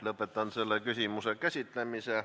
Lõpetan selle küsimuse käsitlemise.